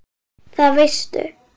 Það veistu